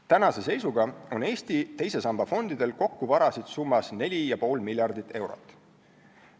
Tänase seisuga on Eesti teise samba fondidel kokku varasid summas 4,5 miljardit eurot.